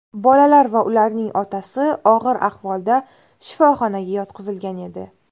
Bolalar va ularning otasi og‘ir ahvolda shifoxonaga yotqizilgan edi.